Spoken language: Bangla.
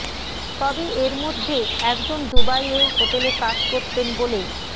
তবে এর মধ্যে একজন দুবাইয়ে হোটেলে কাজ করতেন বলে